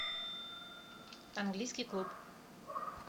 английский клуб